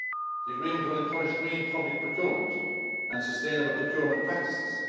The agreement will encourage green public procurement and sustainable procurement practices.